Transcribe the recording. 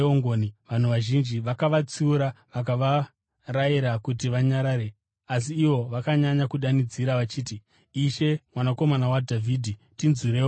Vanhu vazhinji vakavatsiura vakavarayira kuti vanyarare, asi ivo vakanyanya kudanidzira vachiti, “Ishe, Mwanakomana waDhavhidhi, tinzwireiwo ngoni!”